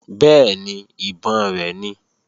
Bẹ́ẹ̀ni, ìbọn rẹ̀ ni